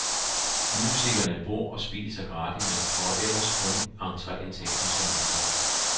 Musikerne bor og spiser gratis, men får ellers kun entreindtægten som hyre.